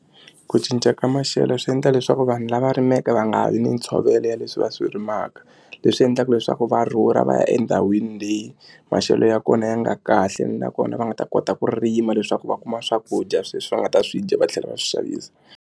Ku cinca ka maxelo swi endla leswaku vanhu lava rimaka va nga ha vi ni ntshovelo ya leswi va swi rimaka leswi endlaka leswaku va rhurha va ya endhawini leyi maxelo ya kona ya nga kahle nakona va nga ta kota ku rima leswaku va kuma swakudya leswi va nga ta swi dya va tlhela va swi xavisa.